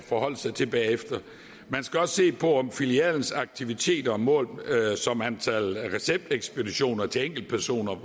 forholde sig til bagefter man skal også se på hvordan filialens aktiviteter målt som antal receptekspeditioner til enkeltpersoner